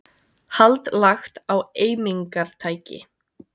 Hald lagt á eimingartæki